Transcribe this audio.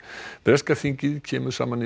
breska þingið kemur saman